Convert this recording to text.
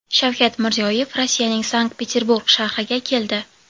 Shavkat Mirziyoyev Rossiyaning Sankt-Peterburg shahriga keldi.